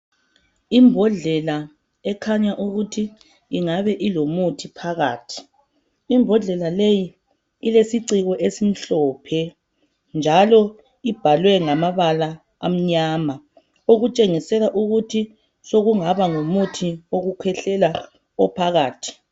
Imbodlela ekhanya ukuthi ingabe ilomuthi phakathi. lmbodlela leyi ilesiciko esimhlophe njalo ibhalwe ngamabala amanyama okutshengisela ukuthi sokungaba ngumuthi wokukhwehlela ophakathi